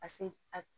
A se a